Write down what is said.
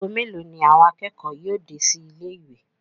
ago melo ni àwọn akẹ́kọ̀ọ́ yóò dé sí ilé ìwé?